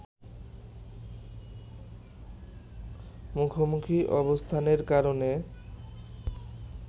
মুখোমুখি অবস্থানের কারণে